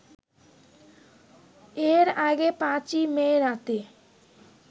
এর আগে ৫ই মে রাতে